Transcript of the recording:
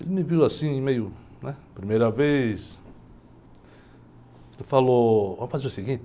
Ele me viu assim, meio, né? Primeira vez... E falou, vamos fazer o seguinte?